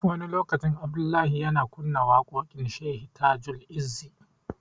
Wani lokaci, Abdullahi yana kunna waƙoƙin Shehi Tajul-izzi.